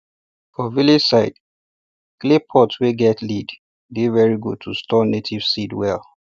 for village side clay pots wey get lid dey very good to store native seeds well